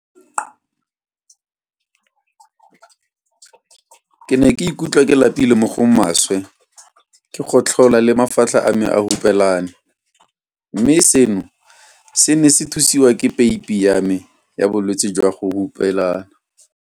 Ke ne ke ikutlwa ke lapile mo go maswe, ke gotlhola le mafatlha a me a hupelane, mme seno se ne se thusiwa ke peipi ya me ya bolwetse jwa go hupelana.